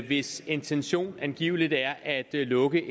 hvis intention angiveligt er at lukke